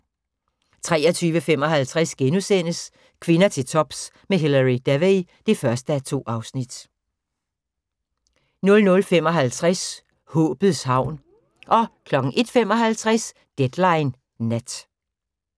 23:55: Kvinder til tops med Hilary Devey (1:2)* 00:55: Håbets havn 01:55: Deadline Nat